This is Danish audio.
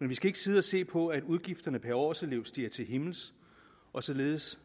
men vi skal ikke sidde og se på at udgifterne per årselev stiger til himmels og således